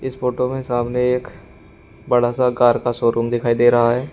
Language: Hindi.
इस फोटो में सामने एक बड़ा सा कार का शोरूम दिखाई दे रहा है।